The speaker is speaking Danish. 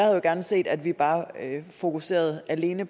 jo gerne set at vi bare fokuserede alene